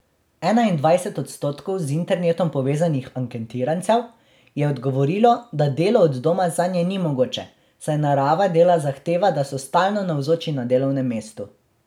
Enaindvajset odstotkov z internetom povezanih anketirancev je odgovorilo, da delo od doma zanje ni mogoče, saj narava dela zahteva, da so stalno navzoči na delovnem mestu.